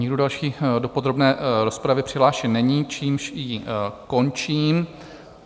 Nikdo další do podrobné rozpravy přihlášen není, čímž ji končím.